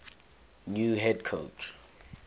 new head coach